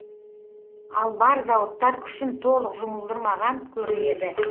ал бар зауыттар күшін толық жұмылдырмаған көрінеді